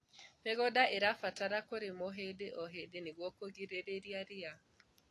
mĩgũnda irabatara kũrĩmirwo hĩndĩ o hĩndĩ nĩguo kũgiririria riia